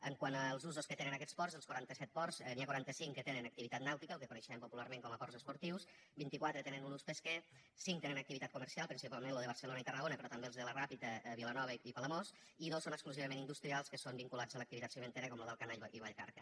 quant als usos que tenen aquests ports dels quaranta set ports n’hi ha quaranta cinc que tenen activitat nàutica el que coneixem popularment com a ports esportius vint i quatre tenen un ús pesquer cinc tenen activitat comercial principalment los de barcelona i tarragona però també els de la ràpita vilanova i palamós i dos són exclusivament industrials que són vinculats a l’activitat cimentera com los d’alcanar i vallcarca